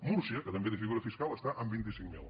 múrcia que també té figura fiscal està en vint cinc mil